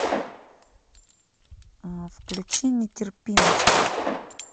включи нетерпимость